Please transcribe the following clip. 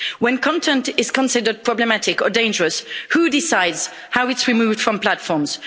When content is considered problematic or dangerous, who decides how it's removed from platforms?